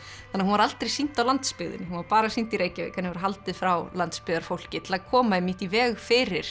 að hún var aldrei sýnd á landsbyggðinni hún var bara sýnd í Reykjavík henni var haldið frá landsbyggðarfólki til að koma einmitt í veg fyrir